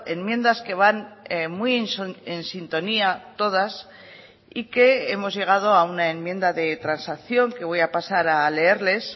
enmiendas que van muy en sintonía todas y que hemos llegado a una enmienda de transacción que voy a pasar a leerles